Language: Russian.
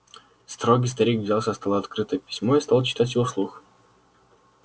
строгий старик взял со стола открытое письмо и стал читать его вслух